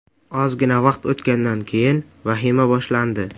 Ozgina vaqt o‘tgandan keyin vahima boshlandi.